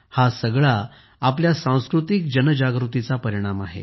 हे सगळं आपल्या सांस्कृतिक जन जागृतीचा परिणाम आहे